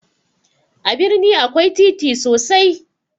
A birni akwai titi sosai